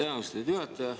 Aitäh, austatud juhataja!